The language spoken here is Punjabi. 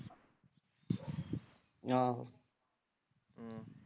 ਆਹੋ ਹਮ